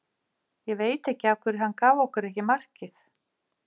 Ég veit ekki af hverju hann gaf okkur ekki markið.